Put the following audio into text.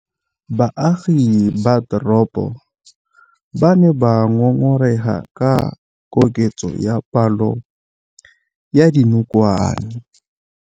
Baagi ba teropo ba ne ba ngôngôrêga ka kôkêtsô ya palô ya dinokwane.